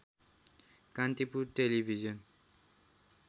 Kantipur television